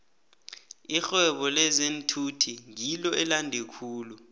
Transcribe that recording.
irhwebo lezeenthuthi ngilo elande khulu